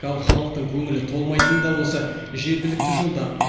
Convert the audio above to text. ал халықтың көңілі толмайтыны да осы жергілікті жолдар